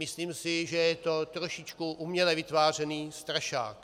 Myslím si, že je to trošičku uměle vytvářený strašák.